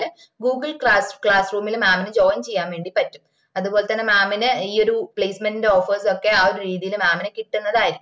Google പ്ലാറ്റ് classroom ഇൽ mam ന് join ചെയ്യാൻ വേണ്ടി പറ്റും അത്പോലെതന്നെ mam ന് ഈ ഒര് placement ന്റെ offers ഒക്കെ ആഹ് ഒര് രീതിയില്ന് mam ന് കിട്ടന്നതായിരിക്കും